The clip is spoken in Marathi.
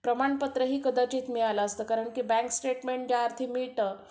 प्रमाणपत्रही कदाचित मिळालं असतं कारण बँक स्टेटमेंट ज्या अर्थी मिळतं